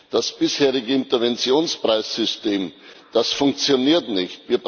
Das bisherige Interventionspreis System, das funktioniert nicht.